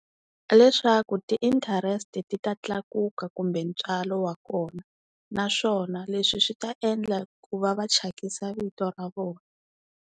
Leswaku ti-interest ti ta tlakuka kumbe ntswalo wa kona, naswona leswi swi ta endla ku va va thyakisa vito ra vona.